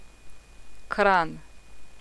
Kranj.